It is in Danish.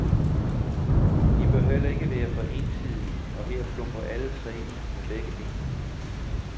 De bør heller ikke være for ensidige, og her plumper alle tre i med begge ben.